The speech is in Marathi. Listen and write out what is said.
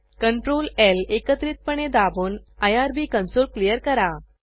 ctrl ल एकत्रितपणे दाबून आयआरबी कंसोल क्लियर करा